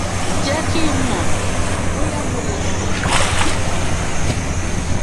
jẹ kí n mọ bóyá mo lè ran ọ lọwọ síwájú